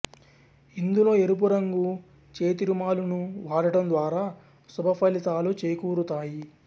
ఇందులో ఎరుపు రంగు చేతిరుమాలును వాడటం ద్వారా శుభ ఫలితాలు చేకూరుతాయి